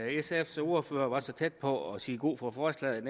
sfs ordfører var så tæt på at sige god for forslaget